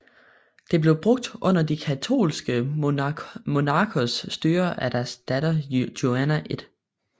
Det blev brugt under De Katolske Monarkers styre og deres datter Juana I